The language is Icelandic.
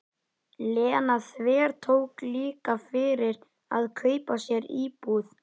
Lena þvertók líka fyrir að kaupa sér íbúð.